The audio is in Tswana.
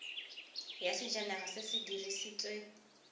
ya sejanaga se se dirisitswe